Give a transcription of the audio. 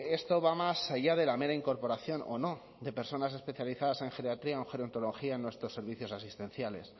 esto va más allá de la mera incorporación o no de personas especializadas en geriatría o en gerontología en nuestros servicios asistenciales